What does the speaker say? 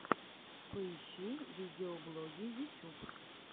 поищи видеоблоги ютюб